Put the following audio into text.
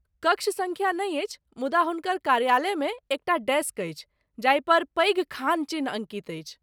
कक्ष सँख्या नहि अछि, मुदा हुनकर कार्यालयमे एकटा डेस्क अछि जाहिपर पैघ खान चिन्ह अङ्कित अछि।